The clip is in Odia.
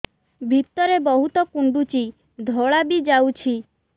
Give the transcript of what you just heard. ଭିତରେ ବହୁତ କୁଣ୍ଡୁଚି ଧଳା ବି ଯାଉଛି